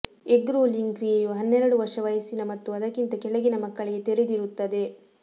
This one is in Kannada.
ಎಗ್ ರೋಲಿಂಗ್ ಕ್ರಿಯೆಯು ಹನ್ನೆರಡು ವರ್ಷ ವಯಸ್ಸಿನ ಮತ್ತು ಅದಕ್ಕಿಂತ ಕೆಳಗಿನ ಮಕ್ಕಳಿಗೆ ತೆರೆದಿರುತ್ತದೆ